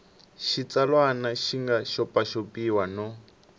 xitsalwana xi nga xopaxopiwa no